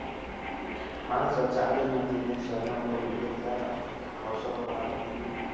हा ना sir चालेल ना. तुम्ही सगळं मला detail द्याला, व्हाट्सअपवर डाला तुम्ही.